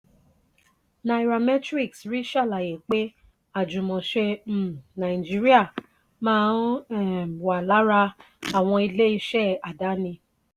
nairametrics rí ṣàlàyé pé ajumose um nigeria má um wá lára àwọn ilé ìṣe àdáni.